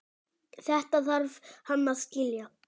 Þetta þarf hann að skilja.